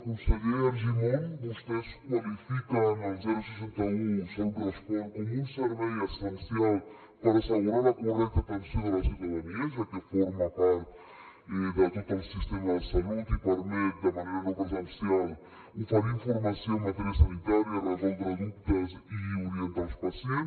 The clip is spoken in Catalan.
conseller argimon vostès qualifiquen el seixanta un salut respon com un servei essencial per assegurar la correcta atenció de la ciutadania ja que forma part de tot el sistema de salut i permet de manera no presencial oferir informació en matèria sanitària resoldre dubtes i orientar els pacients